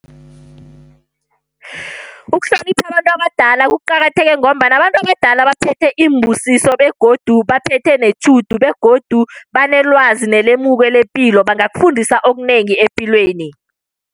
Ukuhlonipha abantu abadala kuqakatheke ngombana abantu abadala baphethe iimbusiso, begodu baphethe netjhudu, begodu banelwazi nelemuko lepilo. Bangakufundisa okunengi epilweni.